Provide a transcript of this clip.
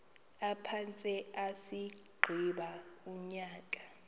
aphantse agqiba unyaka